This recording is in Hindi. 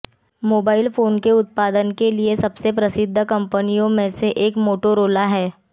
मोबाइल फोन के उत्पादन के लिए सबसे प्रसिद्ध कंपनियों में से एक मोटोरोला है